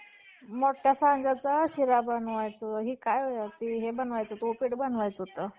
बरे तो टोळीच्या मत्स्य~ मत्स्य अधिकारी आपल्या लोकांसहित कोणत्या ठिकाणी येऊ उतारला. पश्चिम समुद्रातून येऊन तो एका बंदरावर उतरला.